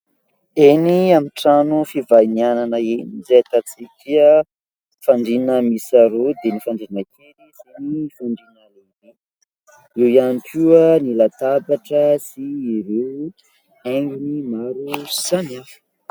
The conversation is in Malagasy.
Eny amin'ny trano fivahinianana eny dia ahitantsika fandriana miisa roa dia ny fandriana kely sy ny fandriana lehibe ; eo ihany koa ny latabatra sy ireo haingony maro samihafa.